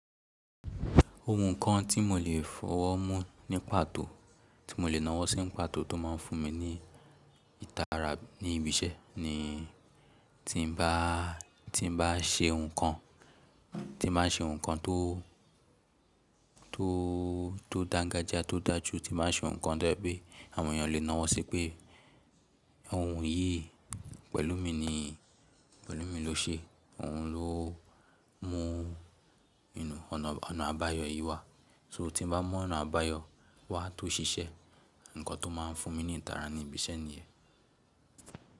Ohun kan tí mo lè fọwọ́ mú ní pàtó, tí mo lè nawọ́ sí ní pàtó tó máa ń fún mi ní ìtara ní ibi iṣẹ́ ni tí n bá, tí n bá ṣe nǹkan, tí n bá ṣe nǹkan tó, tó, tó dán gájá tó dáa jù, tí n máa ṣe nǹkan to ye pé àwọn èèyàn lè nawọ́ sí pé ohun yìí pẹ̀lú mi ni, pẹ̀lú mi ló ṣe, òun ló mú inú ọ̀nà, ọ̀nà àbáyọ yìí wá. So tí n bá mọ ọ̀nà àbáyọ wá tó ṣiṣẹ́, nǹkan tó máa ń fún mi ní ìtara ní ibi iṣẹ́ nìyẹ́.